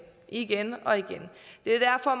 igen og igen det er derfor